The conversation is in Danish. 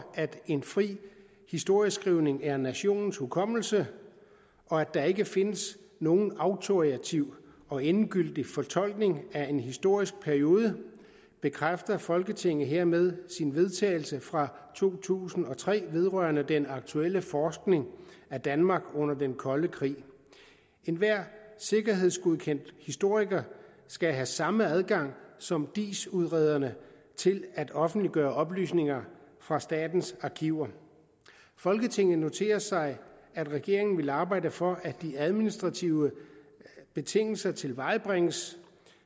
at en fri historieskrivning er nationens hukommelse og at der ikke findes nogen autoritativ og endegyldig fortolkning af en historisk periode bekræfter folketinget hermed sin vedtagelse fra to tusind og tre vedrørende den aktuelle forskning af danmark under den kolde krig enhver sikkerhedsgodkendt historiker skal have samme adgang som diis udrederne til at offentliggøre oplysninger fra statens arkiver folketinget noterer sig at regeringen vil arbejde for at de administrative betingelser tilvejebringes